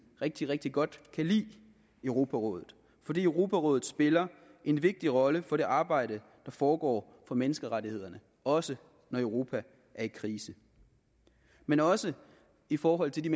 rigtig rigtig godt kan lide europarådet fordi europarådet spiller en vigtig rolle for det arbejde der foregår for menneskerettighederne også når europa er i krise men også i forhold til de